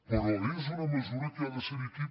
però és una mesura que ha de ser·hi aquí